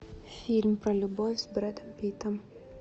фильм про любовь с брэдом питтом